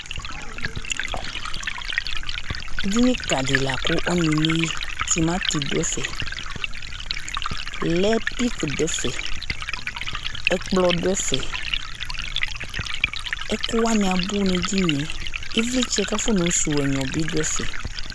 Eɖɩnɩ ka ɖɩ la ku ɔnu emeyɩ Tɩmatɩ ɖu ɛfɛ, lait peack ɖu ɛfɛ, ɛkplɔ ɖu ɛfɛ, ɛku wanɩ abu nu eɖɩnɩe, ɩvlɩtsɛ yɛ kafɔ nayɔ suwu ɛnyɔ bɩ ɖu ɛfɛ